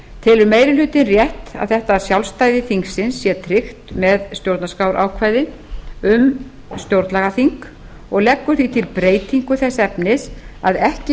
telur meiri hlutinn rétt að þetta sjálfstæði þingsins sé tryggt með stjórnarskrárákvæði um stjórnlagaþing og leggur því til breytingu þess efnis að ekki